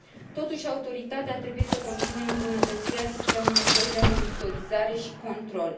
Totuși, Autoritatea trebuie să continue îmbunătățirea sistemului său de monitorizare și control.